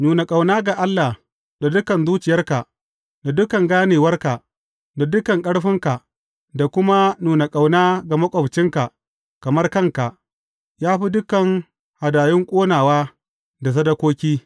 Nuna ƙauna ga Allah da dukan zuciyarka, da dukan ganewarka, da dukan ƙarfinka, da kuma nuna ƙauna ga maƙwabcinka kamar kanka, ya fi dukan hadayun ƙonawa da sadakoki.